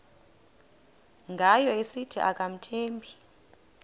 ngayo esithi akamthembi